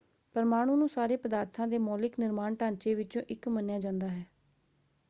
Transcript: ਪਰਮਾਣੂ ਨੂੰ ਸਾਰੇ ਪਦਾਰਥਾਂ ਦੇ ਮੌਲਿਕ ਨਿਰਮਾਣ ਢਾਂਚੇ ਵਿੱਚੋਂ ਇੱਕ ਮੰਨਿਆ ਜਾਂਦਾ ਹੈ।